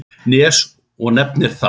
Nes og nefnir það.